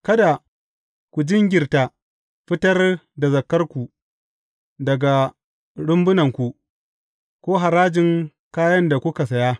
Kada ku jinkirta fitar da zakarku daga rumbunanku, ko harajin kayan da kuka saya.